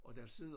Og der sidder